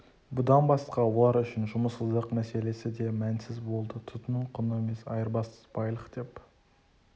бұдан басқа олар үшін жұмыссыздық мәселесі де мәнсіз болды тұтыну құны емес айырбас байлық деп